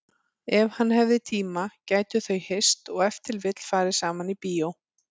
Ef hann hefði tíma gætu þau hist og ef til vill farið saman í bíó.